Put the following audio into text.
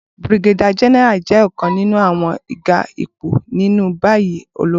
Brigadier General jẹ ọkan ninu awọn ga ipo ni bayi ologun